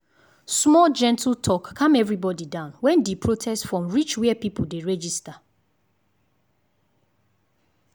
small gentle talk calm everybody down when di protest form reach where people dey register.